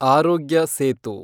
ಆರೋಗ್ಯ ಸೇತು